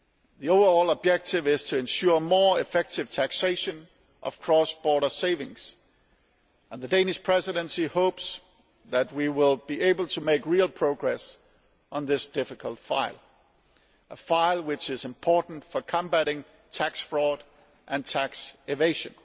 The overall objective is to ensure more effective taxation of cross border savings, and the Danish Presidency hopes that we will be able to make real progress on this difficult file, a file which is important for combating tax fraud and tax evasion.